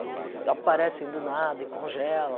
Eles aparecem do nada e congelam.